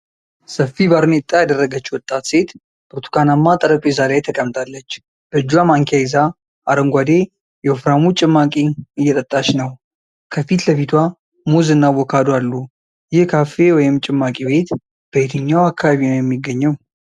ሰፊ ባርኔጣ የደረገች ወጣት ሴት ብርቱካናማ ጠረጴዛ ላይ ተቀምጣለች። በእጇ ማንኪያ ይዛ አረንጓዴ፣ የወፍራሙ ጭማቂ እየጠጣች ነው። ከፊት ለፊቷ ሙዝ እና አቮካዶ አሉ። ይህ ካፌ ወይም ጭማቂ ቤት በየትኛው አካባቢ ነው የሚገኘው?